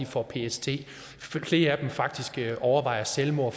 får ptsd at flere af dem faktisk overvejer selvmord at